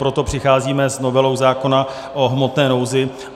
Proto přicházíme s novelou zákona o hmotné nouzi.